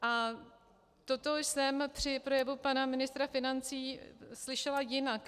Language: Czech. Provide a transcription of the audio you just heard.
A toto jsem při projevu pana ministra financí slyšela jinak.